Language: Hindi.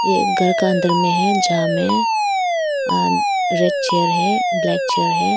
एक घर का अंदर में है जहां में रेड चेयर है ब्लैक चेयर है।